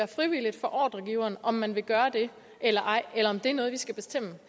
frivilligt for ordregiveren om man vil gøre det eller ej eller om det er noget vi skal bestemme